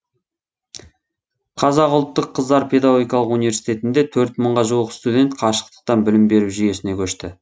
қазақ ұлттық қыздар педагогикалық университетінде төрт мыңға жуық студент қашықтықтан білім беру жүйесіне көшті